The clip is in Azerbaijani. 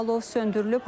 Alov söndürülüb.